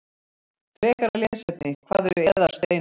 Frekara lesefni: Hvað eru eðalsteinar?